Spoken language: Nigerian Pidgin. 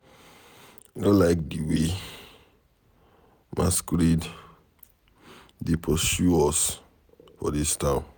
I no like the way masquerade dey pursue us for dis town.